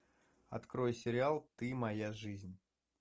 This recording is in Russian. открой сериал ты моя жизнь